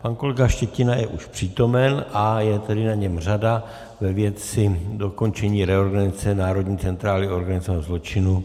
Pan kolega Štětina je už přítomen a je tedy na něm řada ve věci dokončení reorganizace národní centrály organizovaného zločinu.